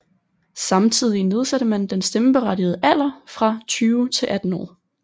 Samtidig nedsatte man den stemmeberettigede alder fra 20 til 18 år